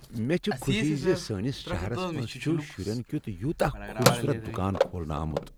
مےٚ چھےٚ خوشی ز سٲنس شہرس منٛز چھ شرین کیتھ یوتاہ خوبصورت دکان کھولنہٕ آمت۔